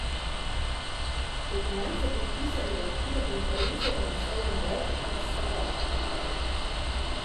Dokument so podpisali v okviru konference z naslovom Brez zastaranja.